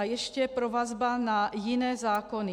A ještě provazba na jiné zákony.